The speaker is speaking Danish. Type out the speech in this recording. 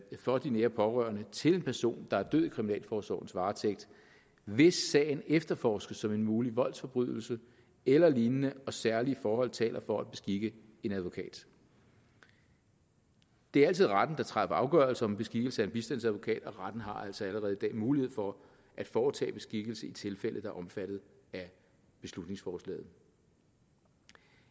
for de nære pårørende til en person der er død i kriminalforsorgens varetægt hvis sagen efterforskes som en mulig voldsforbrydelse eller lignende og særlige forhold taler for at beskikke en advokat det er altid retten der træffer afgørelse om beskikkelse af en bistandsadvokat og retten har altså allerede i dag mulighed for at foretage beskikkelse i tilfælde der er omfattet af beslutningsforslaget